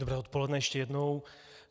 Dobré odpoledne ještě jednou.